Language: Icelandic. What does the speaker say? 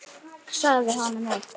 Sagði honum upp.